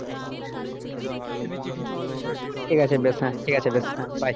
ঠিক আছে বেশ হ্যাঁ ঠিক আছে বেশ হ্যাঁ bye